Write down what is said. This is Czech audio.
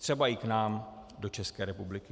Třeba i k nám do České republiky.